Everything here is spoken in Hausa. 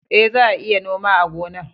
E, za a iya noma a gonar